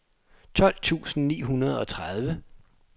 tolv tusind ni hundrede og tredive